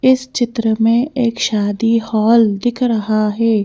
इस चित्र में एक शादी हॉल दिख रहा है।